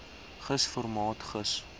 gis formaat gis